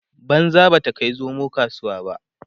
banza ba ta Kai zomo kasuwa